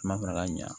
Kuma farala ɲan